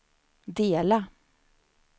dela